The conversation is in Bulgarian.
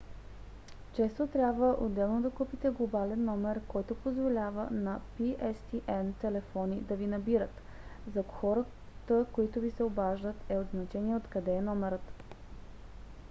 често трябва отделно да купите глобален номер който позволява на pstn телефони да ви набират. за хората които ви се обаждат е от значение откъде е номерът